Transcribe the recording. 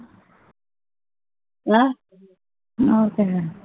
ਹਾਂ ਉਹ ਤਾ ਹੈ